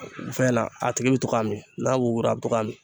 Fɛn na a tigi bɛ to k'a min n'a wugura a bɛ to k'a min